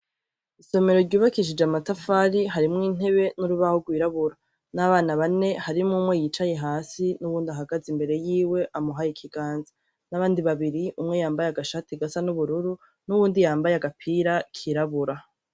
Isomero ryubakishije amatafari. Harimwo intebe n'urubaho rwirabura, n'abana bane , harimwo umwe yicaye hasi, n'uwundi ahagaze imbere yiwe amuhaye ikiganza, n 'abandi babiri umwe yambaye agashati gasa n'ubururu, n'uwundi yambaye agapira kirabura.